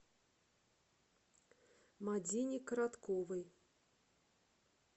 мадине коротковой